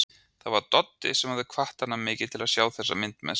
Það var Doddi sem hafði hvatt hann mikið til að sjá þessa mynd með sér.